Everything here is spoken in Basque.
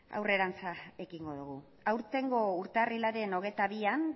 aurrerantz ekingo dugu aurtengo urtarrilaren hogeita bian